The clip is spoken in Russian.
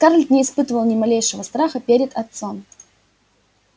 скарлетт не испытывала ни малейшего страха перед отцом